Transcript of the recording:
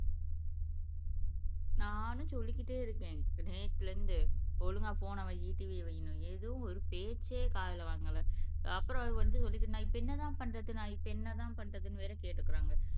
நானும் சொல்லிக்கிட்டே இருக்கேன் நேத்துல இருந்து ஒழுங்கா போன்ன வை TV வையின்னு எதுவும் ஒரு பேச்சே காதுல வாங்கல அப்புறம் அவரு வந்து சொல்லிருக்கு நான் இப்ப என்னதான் பண்றது நான் இப்ப என்னதான் பண்றதுன்னு வேற கேட்டுக்குறாங்க